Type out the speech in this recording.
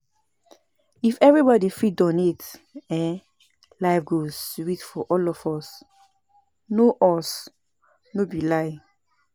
If everybody fit donate, um life go sweet for all of us no us, no be lie.